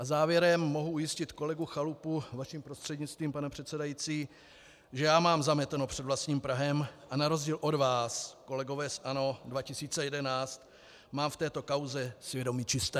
A závěrem mohu ujistit kolegu Chalupu vaším prostřednictvím, pane předsedající, že já mám zameteno před vlastním prahem a na rozdíl od vás, kolegové z ANO 2011, mám v této kauze svědomí čisté.